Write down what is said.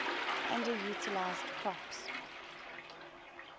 underutilized crops